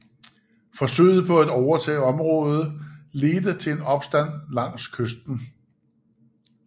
Forsøget på at overtage området ledte til en opstand langs kysten